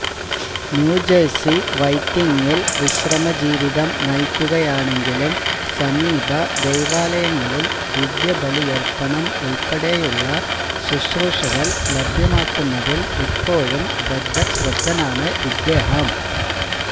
New Jersey വൈറ്റിംഗിൽ വിശ്രമജീവിതം നയിക്കുകയാണെങ്കിലും സമീപ ദൈവാലയങ്ങളിൽ ദിവ്യബലിയർപ്പണം ഉൾപ്പെടെയുള്ളശുശ്രൂഷകൾ ലഭ്യമാക്കുന്നതിൽ ഇപ്പോഴും ബദ്ധശ്രദ്ധനാണ് ഇദ്ദേഹം